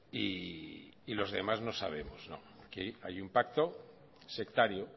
y los demás no sabemos no aquí hay un pacto sectario